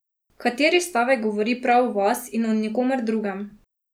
Kateri stavek govori prav o vas in o nikomer drugem?